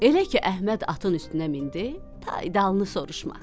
Elə ki Əhməd atın üstünə mindi, tay dalını soruşma.